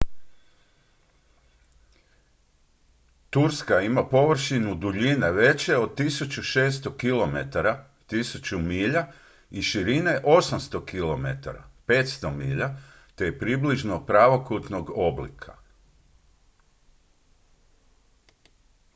turska ima površinu duljine veće od 1600 kilometara 1000 milja i širine 800 km 500 milja te je približno pravokutnog oblika